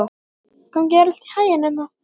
Gangi þér allt í haginn, Emma.